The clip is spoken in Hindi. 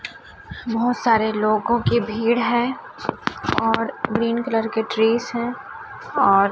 बहोत सारे लोगों की भीड़ है और ग्रीन कलर के ट्रीस है और--